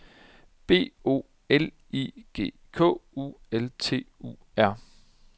B O L I G K U L T U R